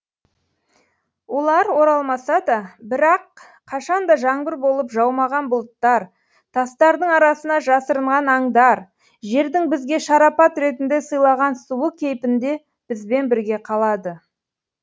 олар оралмаса да бірақ қашанда жаңбыр болып жаумаған бұлттар тастардың арасына жасырынған аңдар жердің бізге шарапат ретінде сыйлаған суы кейпінде бізбен бірге қалады